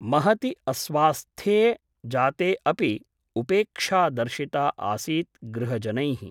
महति अस्वास्थ्ये जाते अपि उपेक्षा दर्शिता आसीत् गृहजनैः ।